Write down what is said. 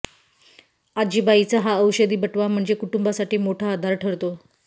आजीबाईचा हा औषधी बटवा म्हणजे कुटुंबासाठी मोठा आधार ठरतो